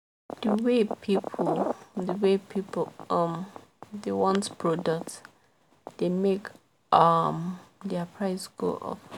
the way people the way people um dey want product dey make um their price go up